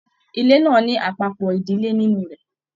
Ilé náà ní àpapọ ìdílé nínú rẹ.